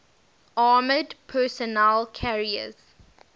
armored personnel carriers